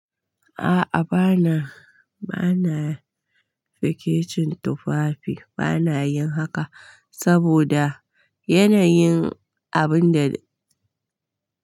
A'a bana, bana fikicin tufafi. Bana yin haka saboda yanayin abun da.